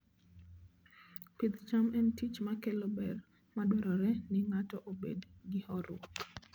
Pidh cham en tich makelo ber madwarore ni ng'ato obed gi horuok.